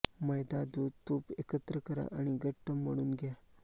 मैदा दूध तूप एकत्र करा आणि घट्ट मळून घ्या